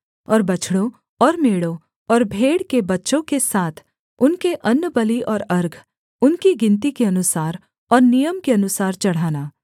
और बछड़ों और मेढ़ों और भेड़ के बच्चों के साथ उनके अन्नबलि और अर्घ उनकी गिनती के अनुसार और नियम के अनुसार चढ़ाना